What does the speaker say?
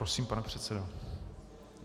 Prosím, pane předsedo.